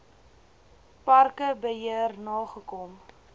parke beheer nagekom